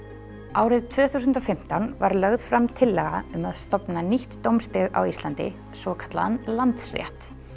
árið tvö þúsund og fimmtán var lögð fram tillaga um að stofna nýtt dómsstig á Íslandi svokallaðan Landsrétt